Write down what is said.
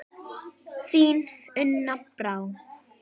Þín, Una Brá.